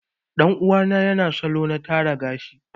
Ɗan uwa na yana son salo na tara gashi.